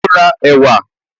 Ó n ra ẹ̀wà